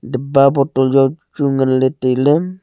dapba botol jao chu ngan le tai le.